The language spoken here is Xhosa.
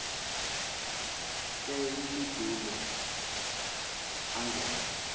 ke imfudulo angen